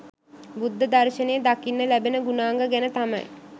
බුද්ධ දර්ශනයේ දකින්න ලැබෙන ගුණාංග ගැන තමයි